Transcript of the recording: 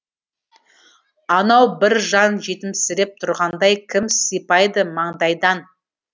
анау бір жан жетімсіреп тұрғандай кім сипайды маңдайдан